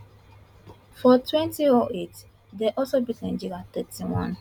for wenty oh eight dem also beat nigeria thirty one